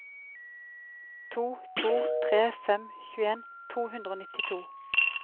to to tre fem tjueen to hundre og nittito